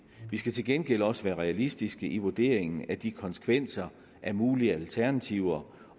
skal til gengæld også være realistiske i vurderingen af de konsekvenser af mulige alternativer